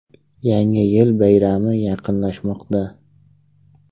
Yangi yil bayrami yaqinlashmoqda.